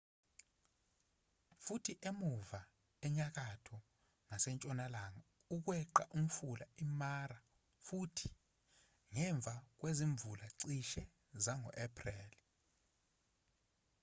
futhi emuva enyakatho ngasentshonalanga ukweqa umfula imara futhi ngemva kwezimvula cishe zango april